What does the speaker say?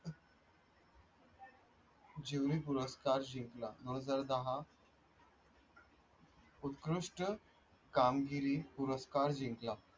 चिमणी पुरस्कार जिंकला उत्कृष्ट कामगिरी पुरस्कार जिंकला